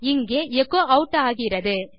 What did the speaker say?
இங்கே echo add ஆகிறது